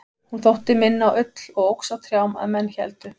hún þótti minna á ull og óx á trjám að menn héldu